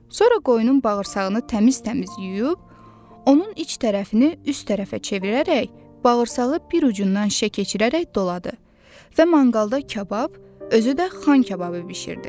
Sonra qoyunun bağırsağını təmiz-təmiz yuyub, onun iç tərəfini üst tərəfə çevirərək bağırsağı bir ucundan şişə keçirərək doladı və manqalda kabab, özü də xan kababı bişirdi.